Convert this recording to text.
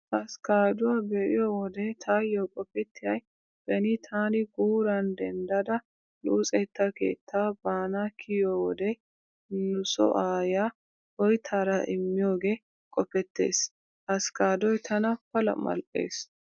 Askkaaduwaa be'iyo wode taayyo qopettiyay beni taani guuran denddada luxetta keettaa baana kiyiyo wode nu soo aayyiyaa oyttaara immiyoogee qopettees. Askkaaddoy tana pala mal'ees.